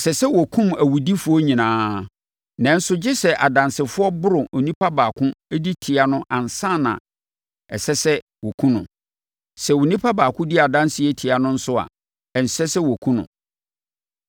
“Ɛsɛ sɛ wɔkum awudifoɔ nyinaa. Nanso gye sɛ adansefoɔ boro onipa baako di tia no ansa na ɛsɛ sɛ wɔkum no. Sɛ onipa baako di adanseɛ tia no nso a, ɛnsɛ sɛ wɔkum no.